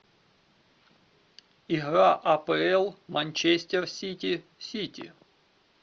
игра апл манчестер сити сити